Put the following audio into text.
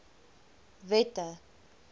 wette